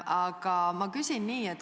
Aga ma küsin nii.